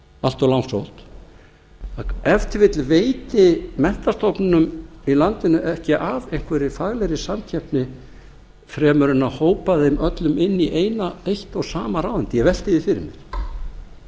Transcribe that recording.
allt of langsótt að ef til vill veiti menntastofnunum í landinu ekki af einhverri faglegri samkeppni fremur en að hópa þeim öllum inn í eitt og sama ráðuneytið ég velti því fyrir mér